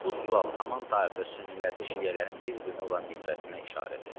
Bu sual haman tarixdə sünnilərdə şiələrin bir-birinə olan nifrətinə işarədir.